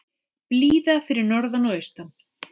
Blíða fyrir norðan og austan